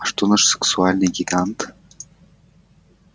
а что наш сексуальный гигант